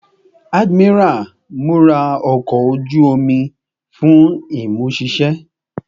Admiral, mura ọkọ oju-omi ọkọ oju omi fun imuṣiṣẹ